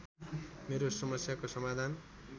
मेरो समस्याको समाधान